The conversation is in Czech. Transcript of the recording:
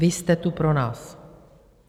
Vy jste tu pro nás.